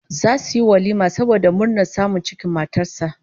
Zasu yi walima saboda murnar samun cikin matar sa